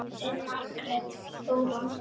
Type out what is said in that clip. Þín, Margrét Þóra.